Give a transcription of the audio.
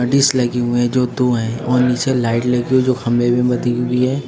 Dish लगे हुए हैं जो दो हैं और नीचे लाइट लगी हुई जो खंभे बंधी हुई है।